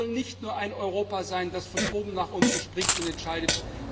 Wir wollen nicht nur ein Europa sein, das von oben nach unten spricht und entscheidet!